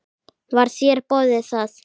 Var þér boðið það?